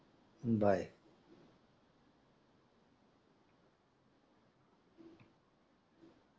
bye